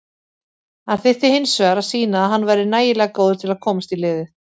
Hann þyrfti hinsvegar að sýna að hann væri nægilega góður til að komast í liðið.